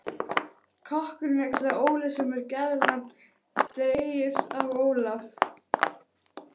Kokkurinn er kallaður Óli, sem er gælunafn dregið af Ólaf